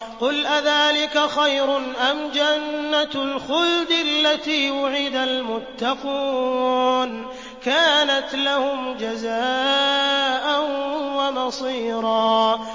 قُلْ أَذَٰلِكَ خَيْرٌ أَمْ جَنَّةُ الْخُلْدِ الَّتِي وُعِدَ الْمُتَّقُونَ ۚ كَانَتْ لَهُمْ جَزَاءً وَمَصِيرًا